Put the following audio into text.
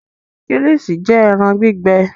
Kílìṣí jẹ́ ẹran gbígbẹ.